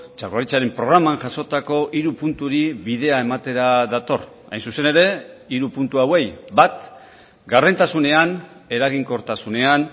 jaurlaritzaren programan jasotako hiru punturi bidea ematera dator hain zuzen ere hiru puntu hauei bat gardentasunean eraginkortasunean